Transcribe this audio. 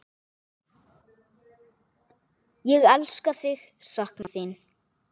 Ég elska þig, sakna þín.